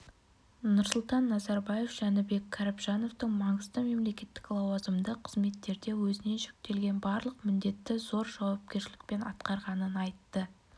нұрсұлтан назарбаев жәнібек кәрібжановтың маңызды мемлекеттік лауазымды қызметтерде өзіне жүктелген барлық міндетті зор жауапкершілікпен атқарғанын айтты